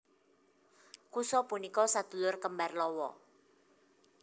Kusa punika sadulur kembar Lawa